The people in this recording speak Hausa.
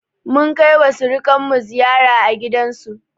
Munkaiwa surikanmu ziyara a gidansu.